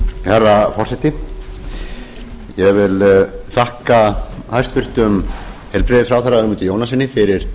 herra forseti ég þakka hæstvirtum heilbrigðisráðherra ögmundi jónassyni fyrir